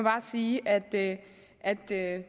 sige at at